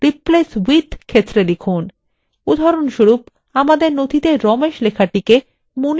উদাহরণস্বরূপ আমাদের নথিতে ramesh লেখাটিকে manish দিয়ে প্রতিস্থাপিত করা যাক